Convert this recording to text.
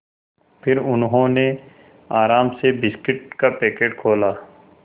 फिर उन्होंने आराम से बिस्कुट का पैकेट खोला